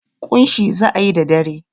ƙunshi za a yi da dare.